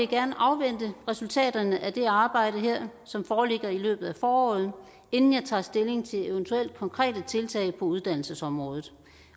gerne afvente resultaterne af det arbejde som foreligger i løbet af foråret inden jeg tager stilling til eventuelle konkrete tiltag på uddannelsesområdet